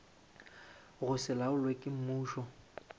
go se laolwe ke mmušo